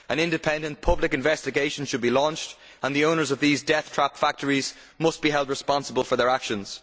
An independent public investigation should be launched, and the owners of these death trap factories must be held responsible for their actions.